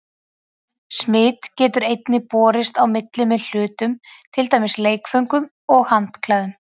Smit getur einnig borist á milli með hlutum, til dæmis leikföngum og handklæðum.